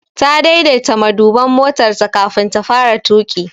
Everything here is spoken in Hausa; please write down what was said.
Ta daidaita maduban motarta kafin ta fara tuƙi.